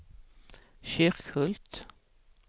Kyrkhult